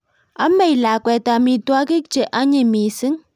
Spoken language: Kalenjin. Amei lakwet amitwogik che anyiny mising